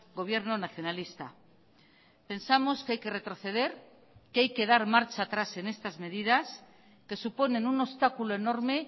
gobierno nacionalista pensamos que hay que retroceder que hay que dar marcha atrás en estas medidas que suponen un obstáculo enorme